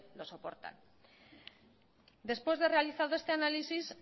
lo soportan después de realizado este análisis